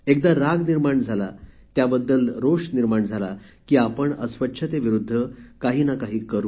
एकदा राग निर्माण झाला त्याबद्दल रोष निर्माण झाला की आपण अस्वच्छतेविरुद्ध काहीनाकाही करू